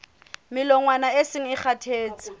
melongwana e seng e kgathetse